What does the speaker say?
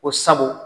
Ko sabu